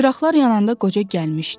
Çıraqlar yananda qoca gəlmişdi.